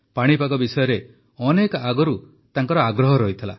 ପାଣିପାଗ ବିଷୟରେ ବହୁତ ଆଗରୁ ତାଙ୍କର ଆଗ୍ରହ ରହିଥିଲା